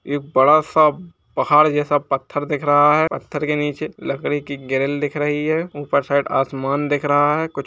एक बड़ा सा पहाड़ जैसा पत्थर दिख रहा है। पत्थर के नीचे लकड़ी की ग्रिल दिख रही है। ऊपर साइड आसमान दिख रहा है। कुछ --